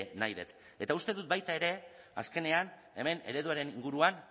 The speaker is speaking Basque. nahi dut eta uste dut baita ere azkenean hemen ereduaren inguruan